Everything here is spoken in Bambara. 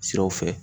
Siraw fɛ